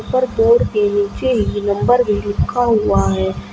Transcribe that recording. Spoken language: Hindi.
और बोर्ड के नीचे ही नंबर भी लिखा हुआ है।